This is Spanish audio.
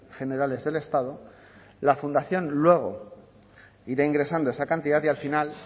generales del estado la fundación luego irá ingresando esa cantidad y al final